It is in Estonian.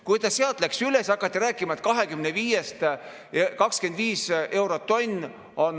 Kui ta sealt läks üles, siis hakati rääkima, et 25 eurot tonn.